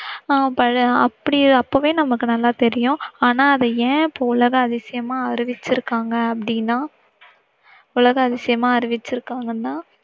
ஆஹ் அப்படியே, அப்பவே நமக்கு நல்லா தெரியும் ஆனா அத ஏன் இப்போ உலக அதிசயமா அறிவிச்சிருக்காங்க அப்படினா. உலக அதிசயமா அறிவிச்சிருக்காங்கன்னா